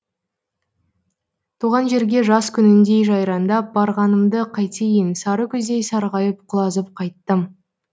туған жерге жаз күніндей жайраңдап барғанымды қайтейін сары күздей сарғайып құлазып қайттым